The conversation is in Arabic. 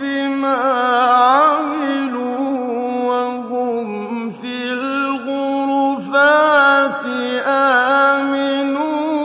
بِمَا عَمِلُوا وَهُمْ فِي الْغُرُفَاتِ آمِنُونَ